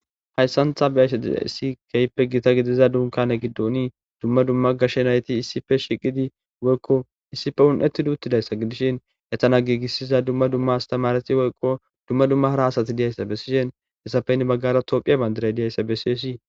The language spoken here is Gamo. Hayssantha beayse desi keyppe gita gidiza dunkane giddoni dumma dumma gashshe nayti issife shiqidi woykko issife hun7eti duuttidayssa gidishin etana giigissiza dumma dumma astamareti woyqo dumma dumma hara hasati diyayssa be sishen hessapeynne baggara tophiya bandiray diyayssa be siyesii